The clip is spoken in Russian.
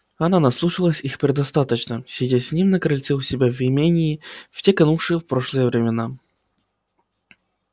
она наслушалась их предостаточно сидя с ним на крыльце у себя в имении в те канувшие в прошлое времена